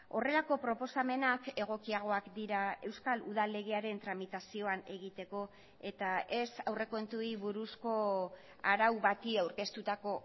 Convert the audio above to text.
horrelako proposamenak egokiagoak dira euskal udal legearen tramitazioan egiteko eta ez aurrekontuei buruzko arau bati aurkeztutako